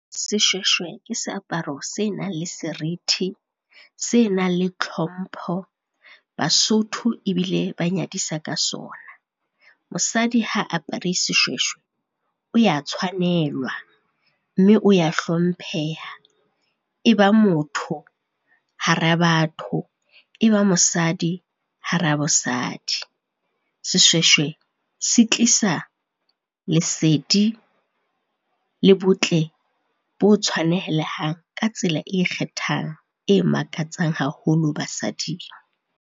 Seshweshwe ke seaparo se nang le serithi, se nang le tlhompho, Basotho ebile ba nyadisa ka sona. Mosadi ha apere seshweshwe o ya tshwanelwa, mme o ya hlompheha. E ba motho hara batho, e ba mosadi hara bosadi. Seshweshwe se tlisa lesedi le botle bo tshwanehelang ka tsela e kgethang, e makatsang haholo basading.